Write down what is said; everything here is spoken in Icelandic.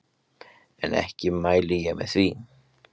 En ekki mæli ég með því.